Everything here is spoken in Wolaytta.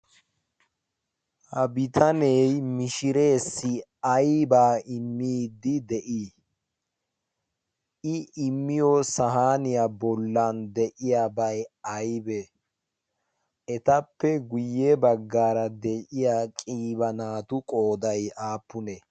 ha bitanee mishireesi aybaa immiidi de'ii i imiyosa haaniyaa bollan de'iyabay aybe etappe guyye baggaara de'iya qiiba naatu qooday aappunee